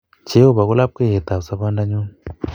Jehovah ko lapkeyet ab sobondanyu